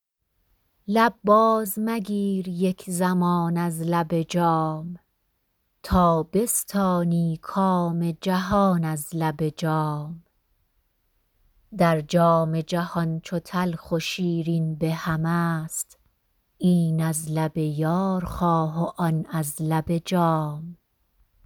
لب باز مگیر یک زمان از لب جام تا بستانی کام جهان از لب جام در جام جهان چو تلخ و شیرین به هم است این از لب یار خواه و آن از لب جام